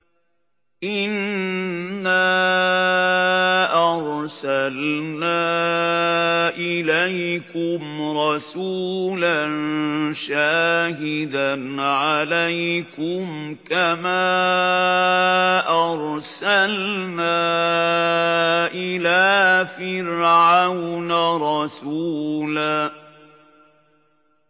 إِنَّا أَرْسَلْنَا إِلَيْكُمْ رَسُولًا شَاهِدًا عَلَيْكُمْ كَمَا أَرْسَلْنَا إِلَىٰ فِرْعَوْنَ رَسُولًا